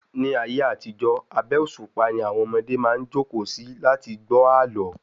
Ní ayé àtijó, abé òṣùpá ni àwọn ọmọdé maá jókòó si láti lẹ gbọ́ àlọ́